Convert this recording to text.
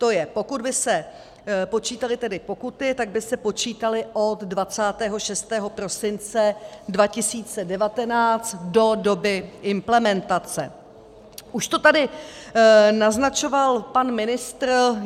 To je, pokud by se počítaly tedy pokuty, tak by se počítaly od 26. prosince 2019 do doby implementace, už to tady naznačoval pan ministr.